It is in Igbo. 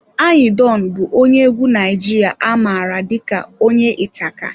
Anyi Don bụ onye egwu Naijiria a mara dị ka onye ichaka.